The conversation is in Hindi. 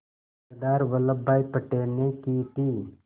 सरदार वल्लभ भाई पटेल ने की थी